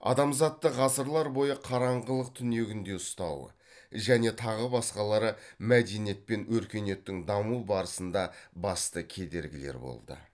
адамзатты ғасырлар бойы қараңғылық түнегінде ұстауы және тағы басқалары мәдениет пен өркениеттің даму барысында басты кедергілер болды